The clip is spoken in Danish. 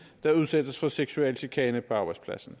der udsættes for seksuel chikane på arbejdspladsen